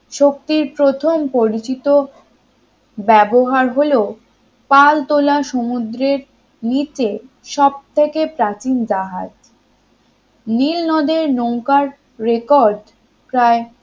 শক্তির প্রথম পরিচিত ব্যবহার হল পাল তোলা সমুদ্রের নিচে সবথেকে প্রাচীন জাহাজ নীলনদের নৌকার record প্রায়